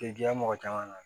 K'i diya mɔgɔ caman na